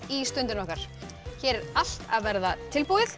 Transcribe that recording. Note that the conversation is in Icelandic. í Stundina okkar hér er allt að verða tilbúið